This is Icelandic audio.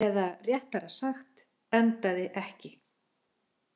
Eða réttara sagt, endaði ekki.